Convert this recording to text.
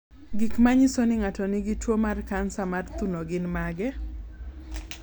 Gik manyiso ni ng'ato nigi tuwo mar kansa mar thuno gin mage?